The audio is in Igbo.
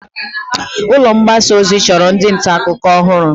Ulọ mgbasa ozi chọrọ ndị nta akụkọ ọhụrụ.